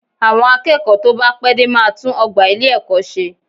Àwọn akẹ́kọ̀ọ́ tó bá pẹ́ dé máa tún ọgbà ilé-ẹ̀kọ́ ṣe